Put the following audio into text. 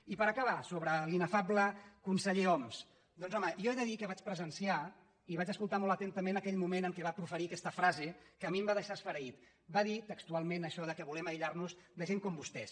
i per acabar sobre l’inefable conseller homs doncs home jo he de dir que vaig presenciar i vaig escoltar molt atentament aquell moment en què va proferir aquesta frase que a mi em va deixar esfereït va dir textualment això que volem aïllar nos de gent com vostès